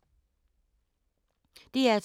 DR2